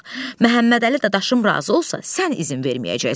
Məmmədəli dadaşım razı olsa sən izin verməyəcəksən.